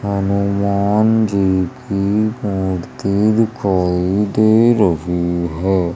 हनुमान जी की मूर्ति दिखाई दे रही हैं।